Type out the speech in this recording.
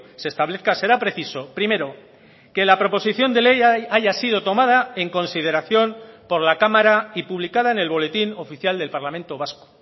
se establezca será preciso primero que la proposición de ley haya sido tomada en consideración por la cámara y publicada en el boletín oficial del parlamento vasco